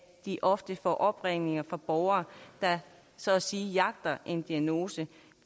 de ofte opringninger fra borgere der så at sige jagter en diagnose